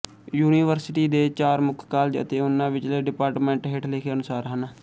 university ਦੇ ਚਾਰ ਮੁੱਖ ਕਾਲਜ ਅਤੇ ਉਹਨਾਂ ਵਿਚਲੇ ਡਿਪਾਰਟਮੈਂਟ ਹੇਠ ਲਿਖੇ ਅਨੁਸਾਰ ਹਨ